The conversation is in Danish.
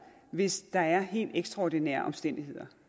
hvis der er helt ekstraordinære omstændigheder